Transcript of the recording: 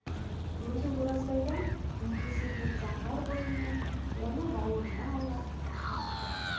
өзі оразбайдан екі есе биік заңғар бойымен оны бауырына ала тақап тұр